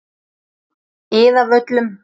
Iðavöllum